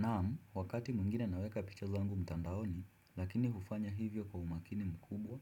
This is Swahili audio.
Naam, wakati mwingine naweka picha zangu mtandaoni, lakini hufanya hivyo kwa umakini mkubwa,